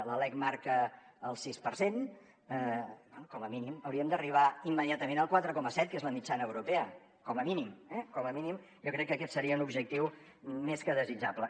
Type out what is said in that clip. la lec marca el sis per cent com a mínim hauríem d’arribar immediatament al quatre coma set que és la mitjana europea com a mínim eh com a mínim jo crec que aquest seria un objectiu més que desitjable